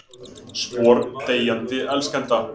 Spor deyjandi elskenda.